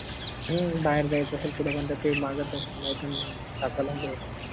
हम्म बाहेर जायचं असेल काही माघात असेल त हाकलून द्यायचे